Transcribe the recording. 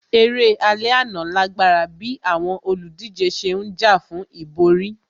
Eré alẹ́ àná lágbára bíi àwọn olùdíje ṣe ń jà fún ìborí